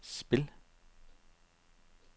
spil